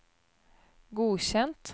godkjent